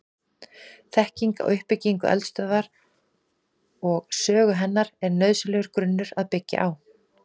Þekking á uppbyggingu eldstöðvar og sögu hennar er nauðsynlegur grunnur að byggja á.